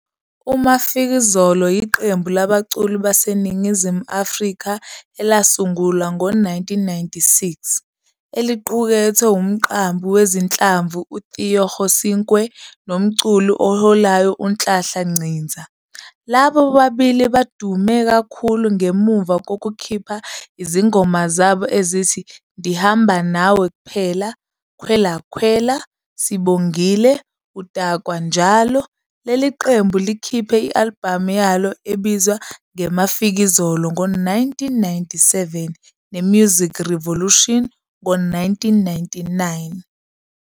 IMafikizolo iqembu labaculi baseNingizimu Afrika elasungulwa ngo-1996,eliqukethe umqambi wezinhlamvu uTheo Kgosinkwe nomculi oholayo uNhlanhla Nciza. Laba bobabili badume kakhulu ngemuva kokukhipha izingoma zabo ezithi "Ndihamba Nawe kuphela", "Kwela Kwela", "Sibongile", "Udakwa Njalo". Leli qembu likhiphe i-albhamu yalo ebizwa "ngeMafikizolo" ngo-1997 ne- "Music Revolution" ngo-1999.